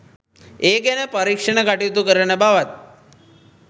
ඒ ගැන පරීක්ෂණ කටයුතු කරන බවත්